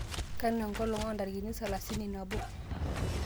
kanu enkolong' o ntarikini salasini nabo